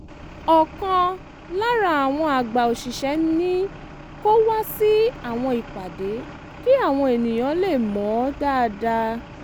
ọ̀kan lára àwọn àgbà òṣìṣẹ́ ní kó wá sí àwọn ìpàdé kí àwọn ènìyàn lè mọ̀ ọ́n dáadáa